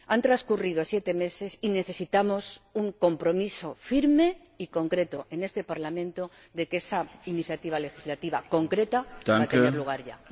Han transcurrido siete meses y necesitamos un compromiso firme y concreto, en este Parlamento, de que esa iniciativa legislativa concreta va a tener lugar ya.